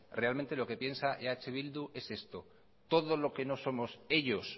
realmente eh bildu es esto todo lo que no somos ellos